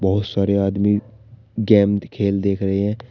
बहुत सारे आदमी खेल देख रहे हैं।